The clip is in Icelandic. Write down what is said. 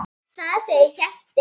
Þar segir Hjalti